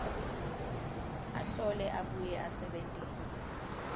ahlole abuye asebentise